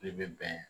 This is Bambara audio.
I bɛ bɛn